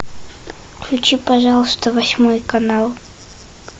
включи пожалуйста восьмой канал